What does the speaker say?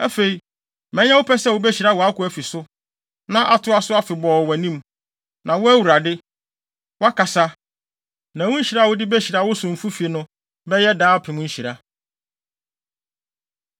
Afei, ma ɛnyɛ wo pɛ sɛ wubehyira wʼakoa fi so, na atoa so afebɔɔ wɔ wʼanim, na wo, Awurade, woakasa, na wo nhyira a wode behyira wo somfo fi no bɛyɛ daapem nhyira.”